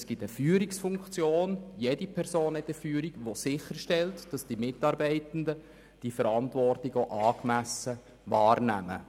Es gibt eine Führungsfunktion, die sicherstellt, dass die Mitarbeitenden diese Verantwortung auch angemessen wahrnehmen.